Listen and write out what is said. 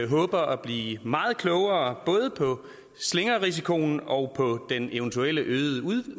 håber at blive meget klogere både på slingrerisikoen og på den eventuelle øgede